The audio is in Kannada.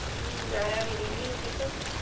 ಹ್ಮ್ ಆರಾಮ್ ಅದಿನಿ ನಿನ್ ದೀಪ?